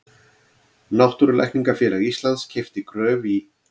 Náttúrulækningafélag Íslands keypti Gröf í